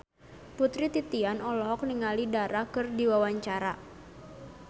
Putri Titian olohok ningali Dara keur diwawancara